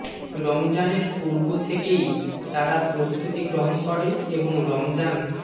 রমজানের পূর্ব থেকেই তারা প্রস্তুতি গ্রহণ করে এবং রমজান